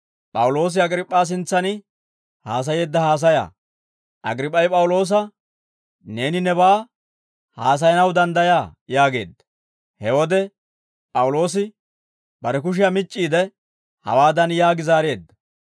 Agriip'p'ay P'awuloosa, «Neeni nebaa haasayanaw danddayaa» yaageedda. He wode P'awuloosi bare kushiyaa mic'c'iide hawaadan yaagi zaareedda.